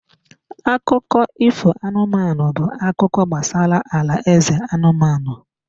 Akụkọ ifo anụmanụ bụ akụkọ gbasara alaeze anụmanụ.